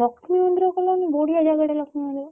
ଲକ୍ଷ୍ମୀ ମନ୍ଦିର ରେ କଲନି ବଢିଆ ଜାଗା ଟା ଲକ୍ଷ୍ମୀ ମନ୍ଦିର?